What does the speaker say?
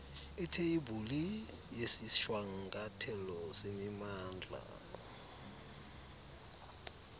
itheyibhuli yesishwankathelo semimandla